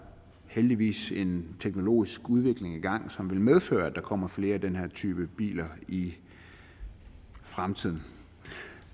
heldigvis en teknologisk udvikling i gang som vil medføre at der kommer flere af den her type biler i fremtiden